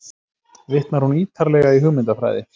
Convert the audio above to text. Vitnar hún ítarlega í hugmyndafræði